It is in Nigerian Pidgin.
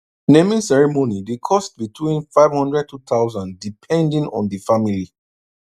naming ceremony dey cost between 5002000 depending on di family